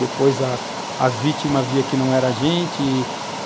Depois, a as vítimas viam que não era a gente e,